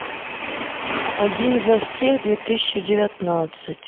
один за всех две тысячи девятнадцать